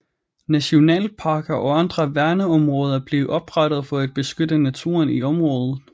Nationalparker og andre værneområder blev oprettet for at beskytte naturen i området